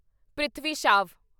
Prithvi Shaw